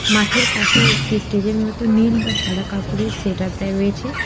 মাঠের পাশে একটি স্টেজের মতো নীল বা সাদা কাপড়ের সেট আপ দেয়া রয়েছে।